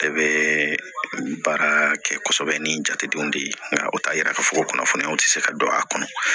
Ne bɛ baara kɛ kosɛbɛ ni n jatedenw de ye nka o t'a yira k'a fɔ ko kunnafoniyaw tɛ se ka don a kɔnɔ